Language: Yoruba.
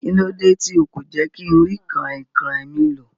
Kílódé ti o kò jé kínrí kànrìnkàn mi lò